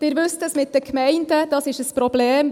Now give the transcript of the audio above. Sie wissen: Das mit den Gemeinden ist ein Problem.